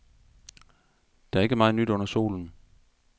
Der er ikke meget nyt under solen.